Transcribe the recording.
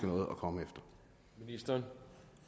noget at komme efter